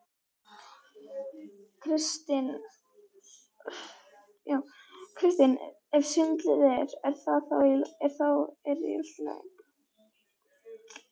Kristinn: Ef svindlið er. þá er það í lagi?